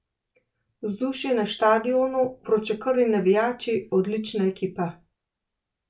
Vzdušje na štadionu, vročekrvni navijači, odlična ekipa.